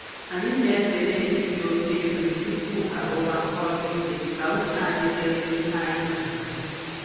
Anyị na-ezere iri oke nri tupu arụwa ọrụ ike ka uche anyị dịrị na ihe anyị n'arụ.